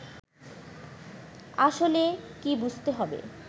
আসলে কী বুঝতে হবে